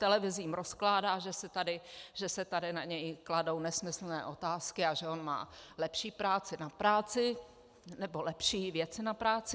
Televizím rozkládá, že se tady na něj kladou nesmyslné otázky a že on má lepší práci na práci, nebo lepší věci na práci.